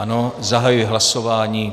Ano, zahajuji hlasování.